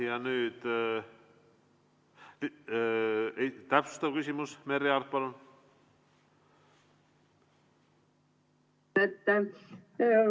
Ja nüüd täpsustav küsimus, Merry Aart, palun!